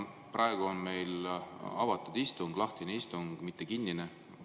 Praegu on meil avatud istung, lahtine istung, mitte kinnine.